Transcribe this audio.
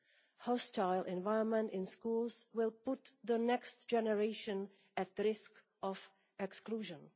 A hostile environment in schools will put the next generation at risk of exclusion.